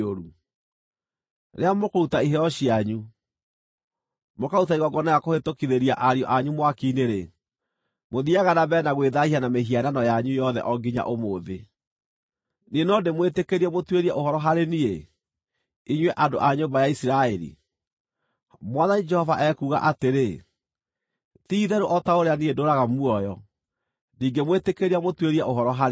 Rĩrĩa mũkũruta iheo cianyu, mũkaruta igongona rĩa kũhĩtũkithĩria ariũ anyu mwaki-inĩ-rĩ, mũthiiaga na mbere na gwĩthaahia na mĩhianano yanyu yothe o nginya ũmũthĩ. Niĩ no ndĩmwĩtĩkĩrie mũtuĩrie ũhoro harĩ niĩ, inyuĩ andũ a nyũmba ya Isiraeli? Mwathani Jehova ekuuga atĩrĩ: Ti-itherũ o ta ũrĩa niĩ ndũũraga muoyo, ndingĩmwĩtĩkĩria mũtuĩrie ũhoro harĩ niĩ.